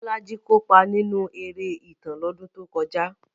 Bolaji kópa nínú eré ìtàn lọ́dún tó kọjá.